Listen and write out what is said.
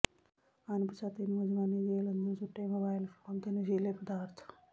ਅਣਪਛਾਤੇ ਨੌਜਵਾਨ ਨੇ ਜੇਲ੍ਹ ਅੰਦਰ ਸੁੱਟੇ ਮੋਬਾਈਲ ਫੋਨ ਤੇ ਨਸ਼ੀਲੇ ਪਦਾਰਥ